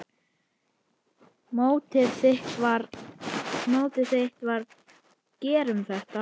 Mottóið þitt var: Gerum þetta!